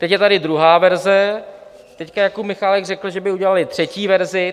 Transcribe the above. Teď je tady druhá verze, teď Jakub Michálek řekl, že by udělali třetí verzi.